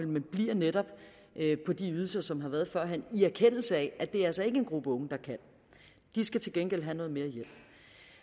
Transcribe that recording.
men bliver netop på de ydelser som har været førhen det i erkendelse af at det altså ikke er en gruppe unge der kan de skal til gengæld have noget mere hjælp